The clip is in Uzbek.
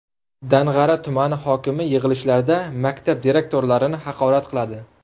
Dang‘ara tumani hokimi yig‘ilishlarda maktab direktorlarini haqorat qiladi.